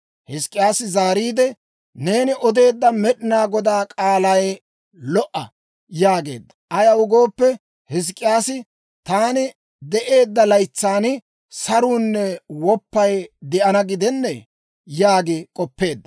Hizk'k'iyaasi zaariide, «Neeni odeedda Med'inaa Godaa k'aalay lo"a» yaageedda. Ayaw gooppe, Hizk'k'iyaasi, «Taani de'eedda laytsan saruunne woppay de'ana gidennee» yaagi k'oppeedda.